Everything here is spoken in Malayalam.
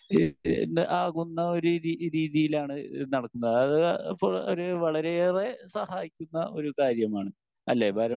സ്പീക്കർ 1 ആകുന്ന ഒരു രീതി രീതിയിലാണ് നടക്കുന്നത്. ആഹ് അത് ഇപ്പോൾ വളരെയേറെ സഹായിക്കുന്ന ഒരു കാര്യമാണ്.അല്ലേ ബാല